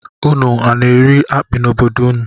Ụnụ na-eri akpi n'obodo ụnụ?